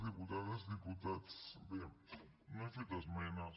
diputades diputats bé no hem fet esmenes